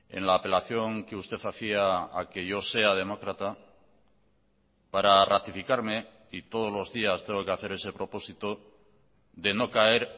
en la apelación que usted hacía a que yo sea demócrata para ratificarme y todos los días tengo que hacer ese propósito de no caer